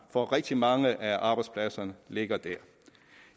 for rigtig mange af arbejdspladserne ligger der